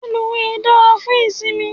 Reluwe dára fún ìsimi